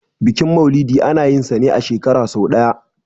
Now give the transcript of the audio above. bikin maulidi ana yinsa ne a shekara sai ɗaya